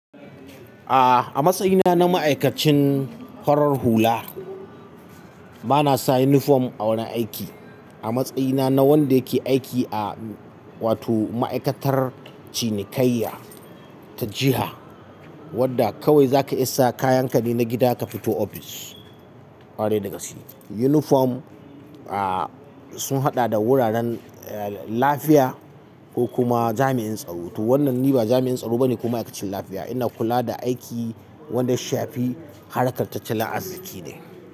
A'a, a matsayina na ma'aikacin horar hula, bana sa uniform a wani aiki. A matsayina na wanda yake aiki a wato ma'aikatar cinikayya ta jiha, wadda kawai zaka isa kayan ka ne na gida ka fito ofis, ƙware dagaske. Uniform, a sun haɗa da wuraren, eh, lafiya ko kuma jami'in tsaro. To wannan ni ba jami'in tsaro bane ko ma'aikacin lafiya, ina kula da aiki wanda shi fi harkan tattalin azziki ne.